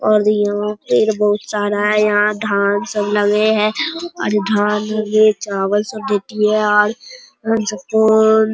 और यहाँ पेड़ बहुत सारा है यहाँ धान सब लगे है और धन ये चावल सब --